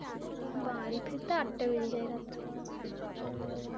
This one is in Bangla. বাড়ি ফিরতে আটটা বেজে যায় রাত্তির